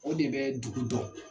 O de bɛ dugu dɔn.